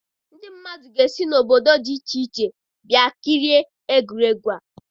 Ndị mmadụ ga-esi n'obodo dị iche iche bịa kirie egwuregwu a.